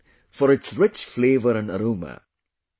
It is known for its rich flavour and aroma